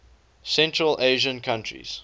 central asian countries